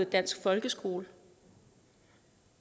dansk folkeskole